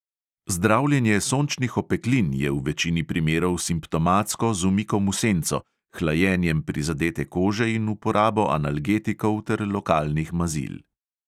Zdravljenje sončnih opeklin je v večini primerov simptomatsko z umikom v senco, hlajenjem prizadete kože in uporabo analgetikov ter lokalnih mazil.